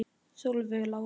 Solveig Lára.